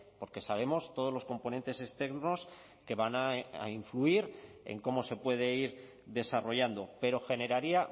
porque sabemos todos los componentes externos que van a influir en cómo se puede ir desarrollando pero generaría